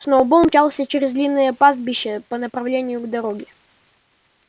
сноуболл мчался через длинное пастбище по направлению к дороге